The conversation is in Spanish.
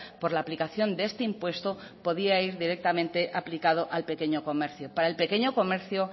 por la aplicación de este impuesto podía ir directamente aplicado al pequeño comercio para el pequeño comercio